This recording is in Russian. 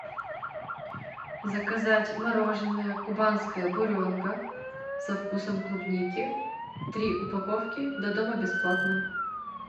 заказать мороженое кубанская буренка со вкусом клубники три упаковки до дома бесплатно